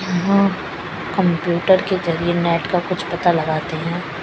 यहा कंप्यूटर के जरिए नेट का कुछ पता लगाते हैं।